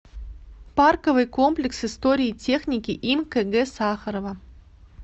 парковый комплекс истории техники им кг сахарова